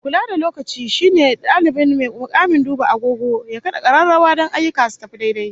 Mai kula da lokaci shine dalibai mai mukamin duba agogo ya kada kararrawa don ayyuka su tafi daidai